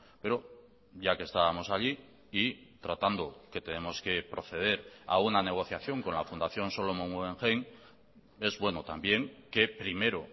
pero ya que estábamos allí y tratando que tenemos que proceder a una negociación con la fundación solomon guggenheim es bueno también que primero